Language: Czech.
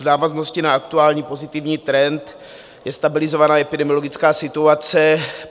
V návaznosti na aktuální pozitivní trend je stabilizovaná epidemiologická situace.